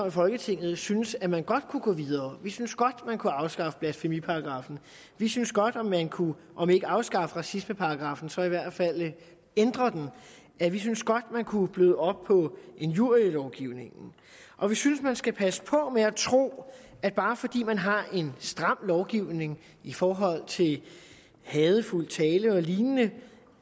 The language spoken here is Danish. i folketinget synes at man godt kunne gå videre vi synes godt at man kunne afskaffe blasfemiparagraffen vi synes godt at man kunne om ikke afskaffe racismeparagraffen så i hvert fald ændre den vi synes godt at man kunne bløde op på injurielovgivningen og vi synes at man skal passe på med at tro at bare fordi man har en stram lovgivning i forhold til hadefuld tale og lignende